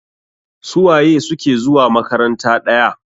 Suwaye suke zuwa makaranta ɗaya?